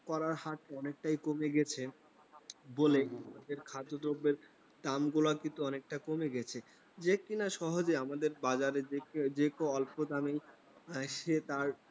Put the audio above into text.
পারার হাত অনেকটাই কমে গেছে, বলে খাদ্যদ্রব্যের দাম গুলো কিন্তু অনেকটা কমে গেছে. যে কিনা সহজে আমাদের বাজারে যে কেও অল্প দামেই সে তার